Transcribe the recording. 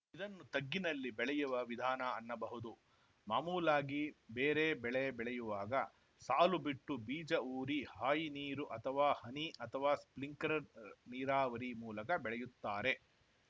ಇದನ್ನು ತಗ್ಗಿನಲ್ಲಿ ಬೆಳೆಯುವ ವಿಧಾನ ಅನ್ನಬಹುದು ಮಾಮೂಲಾಗಿ ಬೇರೆ ಬೆಳೆ ಬೆಳೆಯುವಾಗ ಸಾಲು ಬಿಟ್ಟು ಬೀಜ ಊರಿ ಹಾಯಿನೀರು ಅಥವಾ ಹನಿ ಅಥವಾ ಸ್ಪಿಂಕ್ಲರ್‌ ನೀರಾವರಿ ಮೂಲಕ ಬೆಳೆಯುತ್ತಾರೆ